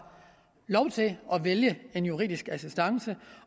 lov til at vælge en juridisk assistance